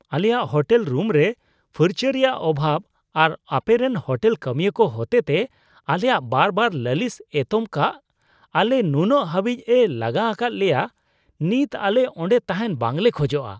ᱟᱞᱮᱭᱟᱜ ᱦᱳᱴᱮᱞ ᱨᱩᱢᱨᱮ ᱯᱷᱟᱨᱪᱟ ᱨᱮᱭᱟᱜ ᱚᱵᱷᱟᱵ ᱟᱨ ᱟᱯᱮᱨᱮᱱ ᱦᱳᱴᱮᱞ ᱠᱟᱹᱢᱤᱭᱟᱹ ᱠᱚ ᱦᱚᱛᱮᱛᱮ ᱟᱞᱮᱭᱟᱜ ᱵᱟᱨᱵᱟᱨ ᱞᱟᱹᱞᱤᱥ ᱮᱛᱚᱢ ᱠᱟᱜ ᱟᱞᱮ ᱱᱩᱱᱟᱹᱜ ᱦᱟᱹᱵᱤᱡᱼᱮ ᱞᱟᱸᱜᱟ ᱟᱠᱟᱫ ᱞᱮᱭᱟ ᱱᱤᱛ ᱟᱞᱮ ᱚᱸᱰᱮ ᱛᱟᱦᱮᱱ ᱵᱟᱝᱞᱮ ᱠᱷᱚᱡᱚᱜᱼᱟ ᱾